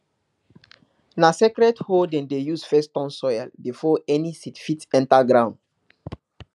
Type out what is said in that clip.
na sacred hoe dem dey use first turn soil before any seed fit enter ground